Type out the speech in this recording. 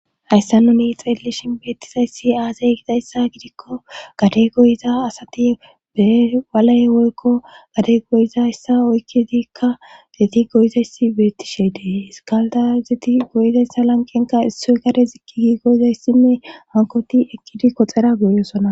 Hayssa nuni xeellishin beettizayssi aazay gidayssa gidikko gade goyiza asati be waley woykko gade goyiza hyssa oykkidikka deti goyizayssi bettishe dee iskalda zeti goyizayssa lanqenka issoy gade ziqqigi goyizay sime hankoti eqqidi koxera goyosona.